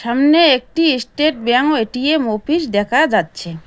সামনে একটি state bank ও এ_টি_এম ওপিস দেখা যাচ্ছে।